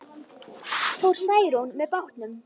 Fór Særún með bátnum.